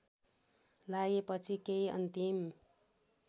लागेपछि केही अन्तिम